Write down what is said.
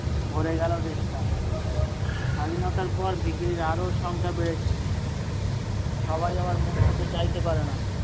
ভরে গেল দেশটা স্বাধীনতার পর ভিখিরির আরো সংখ্যা বেড়েছে সবাই আবার মুখ ফুটে চাইতে পারেনা।